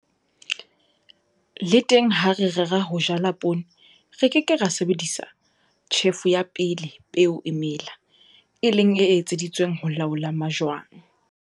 Le teng ha re rera ho jala poone re ke ke ra sebedisa tjhefo ya pele peo e mela, e leng e etseditsweng ho laola majwang.